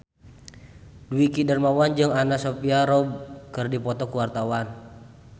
Dwiki Darmawan jeung Anna Sophia Robb keur dipoto ku wartawan